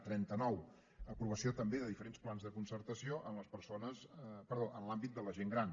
trenta nou aprovació també de diferents plans de concertació en l’àmbit de la gent gran